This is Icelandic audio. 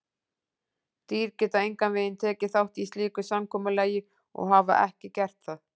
Dýr geta engan veginn tekið þátt í slíku samkomulagi og hafa ekki gert það.